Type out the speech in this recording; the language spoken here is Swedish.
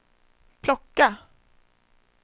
plocka